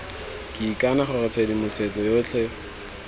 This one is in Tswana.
ke ikana gore tshedimosetso yotlhe